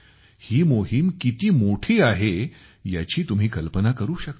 ही मोहीम किती मोठी आहे याची तुम्ही कल्पना करू शकता